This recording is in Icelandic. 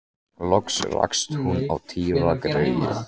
Loks rakst hún á Týra greyið.